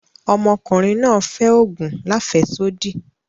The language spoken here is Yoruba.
Ọmọ ọ̀kùnriǹ náà fẹ́ ogun làféṣodí.